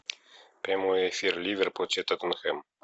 прямой эфир ливер против тоттенхэм